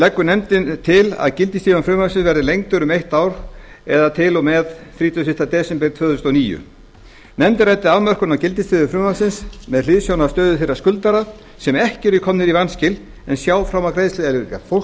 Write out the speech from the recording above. leggur nefndin til að gildistími frumvarpsins verði lengdur um eitt ár eða til og með þrítugasta og fyrsta desember tvö þúsund og níu nefndin ræddi afmörkun á gildissviði frumvarpsins með hliðsjón af stöðu þeirra skuldara sem ekki eru komnir í vanskil en sjá fram á greiðsluerfiðleika það er fólks